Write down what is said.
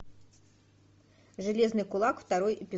железный кулак второй эпизод